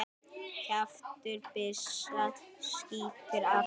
Kjaftur byssu skýtur aftur.